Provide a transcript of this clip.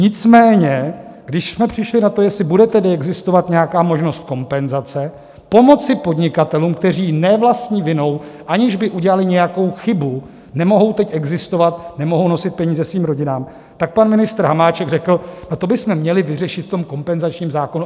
Nicméně když jsme přišli na to, jestli bude tedy existovat nějaká možnost kompenzace, pomoci podnikatelům, kteří ne vlastní vinou, aniž by udělali nějakou chybu, nemohou teď existovat, nemohou nosit peníze svým rodinám, tak pan ministr Hamáček řekl: to bychom měli vyřešit v tom kompenzačním zákonu.